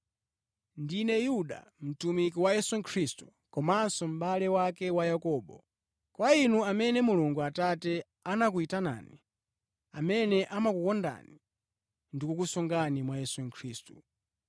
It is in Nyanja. Ndine Yuda, mtumiki wa Yesu Khristu, komanso mʼbale wake wa Yakobo. Kwa inu amene Mulungu Atate anakuyitanani, amene amakukondani ndikukusungani mwa Yesu Khristu.